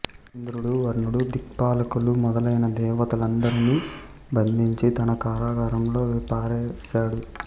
ఇంద్రుడు వరుణుడు దిక్పాలకులు మొదలైన దేవతలనందరినీ బంధించి తన కారాగారంలో పారేశాడు